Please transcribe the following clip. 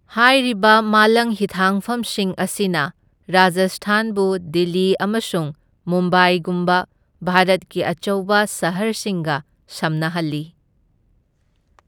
ꯍꯥꯏꯔꯤꯕ ꯃꯥꯂꯪ ꯍꯤꯊꯥꯡꯐꯝꯁꯤꯡ ꯑꯁꯤꯅ ꯔꯥꯖꯁꯊꯥꯟꯕꯨ ꯗꯤꯜꯂꯤ ꯑꯃꯁꯨꯡ ꯃꯨꯝꯕꯥꯏꯒꯨꯝꯕ ꯚꯥꯔꯠꯀꯤ ꯑꯆꯧꯕ ꯁꯍꯔꯁꯤꯡꯒ ꯁꯝꯅꯍꯜꯂꯤ꯫